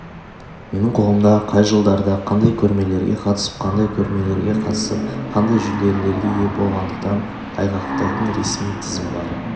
менің қолымда қай жылдары қандай көрмелерге қатысып қандай көрмелерге қатысып қандай жүлделерге ие болғандығын айғақтайтын ресми тізім бар